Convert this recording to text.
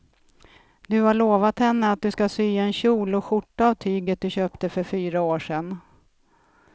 Du har lovat henne att du ska sy en kjol och skjorta av tyget du köpte för fyra år sedan.